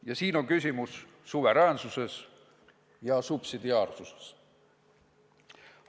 Ja siin on küsimus suveräänsuses ja subsidiaarsuses.